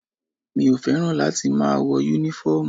Mi ò fẹ́ràn láti máa wọ́ Únífọ́ọ̀mù